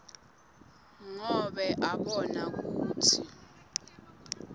ngobe abona kutsi